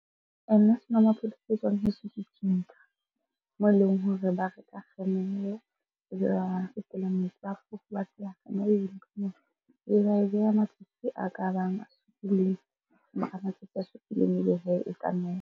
Senomaphodi se etswang heso . Moo e leng hore ba reka kgemere metsi a fofo, e beha matsatsi a ka bang a ka matsatsi a supileng ebe hee e ka nowa.